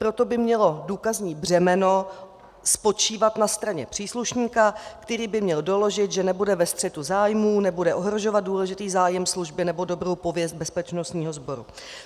Proto by mělo důkazní břemeno spočívat na straně příslušníka, který by měl doložit, že nebude ve střetu zájmů, nebude ohrožovat důležitý zájem služby nebo dobrou pověst bezpečnostního sboru.